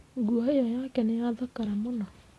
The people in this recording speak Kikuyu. Nguo ĩyo yake nĩ yathakara mũno.